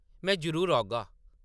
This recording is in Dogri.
में जरुर औगा ।